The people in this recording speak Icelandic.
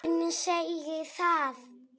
Hver segir það?